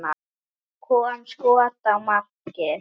Það kom skot á markið.